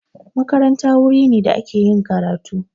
Makaranta wuri ne da ake yin karatu